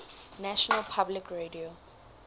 national public radio